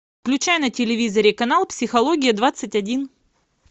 включай на телевизоре канал психология двадцать один